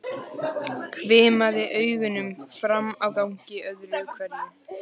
Hvimaði augunum fram á ganginn öðru hverju.